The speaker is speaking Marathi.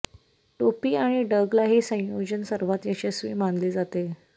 टोपी आणि डगला हे संयोजन सर्वात यशस्वी मानले जाते